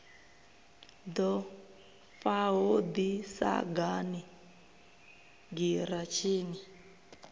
ḓo faho ḓi sagani giratshini